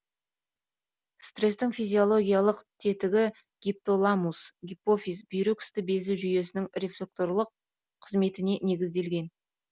стрестің физиологиялық тетігі гипоталамус гипофиз бүйрек үсті безі жүйесінің рефлекторлық қызметіне негізделген